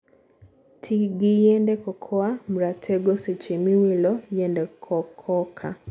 tii gi yiend cocoa mratego seche miwilo yiende cococa.